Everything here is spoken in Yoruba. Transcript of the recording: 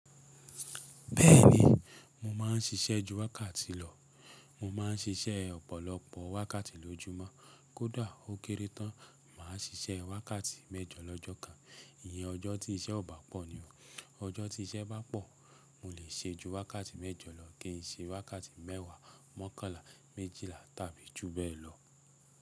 Bẹ́ẹ̀ni, mo máa ń ṣiṣẹ́ ju wákàtí lọ. Mo máa ń ṣiṣẹ́ ọ̀pọ̀lọpọ̀ wákàtí lójúmọ́. Kódà ó kéré tán, màá ṣiṣẹ́ wákàtí mẹ́jọ lọ́jọ́ kan. Íyen ojọ́ tí iṣẹ́ ò bá pọ̀ ni o. Ọjọ́ tí iṣẹ́ bá pọ̀, mo lè ṣe ju wákàtí mẹ́jọ lọ kí n ṣe wákàtí mẹ́wàá, mọ́kànlá, méjìlá tàbí jù bẹ́ẹ̀ lọ.